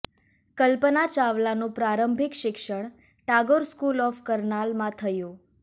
કલ્પના ચાવલાનું પ્રારંભિક શિક્ષણ ટાગોર સ્કુલ ઑફ કરનાલમાં થયું